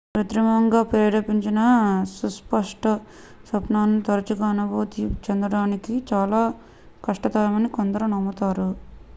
కృత్రిమంగా ప్రేరేపించిన సుస్పష్ట స్వప్నాలను తరచుగా అనుభూతి చెందడం చాలా కష్టతరమని కొందరు నమ్ముతారు